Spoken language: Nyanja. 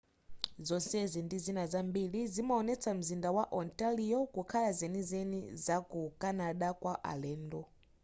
zonsezi ndi zina zambiri zimaonetsa mzinda wa ontario kukhala zenizeni za ku canada kwa alendo